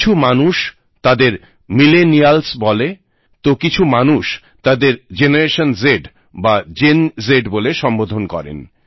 কিছু মানুষ তাদের মিলেনিয়াল্স বলে তো কিছু মানুষ তাদের জেনারেশন জ বা জেন জ বলে সম্বোধন করেন